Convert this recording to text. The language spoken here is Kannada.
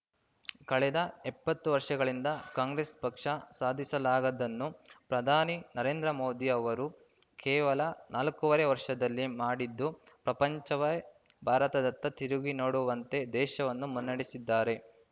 ಕಳೆದ ಎಪ್ಪತ್ತು ವರ್ಷಗಳಿಂದ ಕಾಂಗ್ರೆಸ್‌ ಪಕ್ಷ ಸಾಧಿಲಾಗದ್ದನ್ನು ಪ್ರಧಾನಿ ನರೇಂದ್ರ ಮೋದಿ ಅವರು ಕೇವಲ ನಾಲ್ಕೂವರೆ ವರ್ಷದಲ್ಲಿ ಮಾಡಿದ್ದು ಪ್ರಪಂಚವೇ ಭಾರತದತ್ತ ತಿರುಗಿ ನೋಡುವಂತೆ ದೇಶವನ್ನು ಮುನ್ನೆಡೆಸಿದ್ದಾರೆ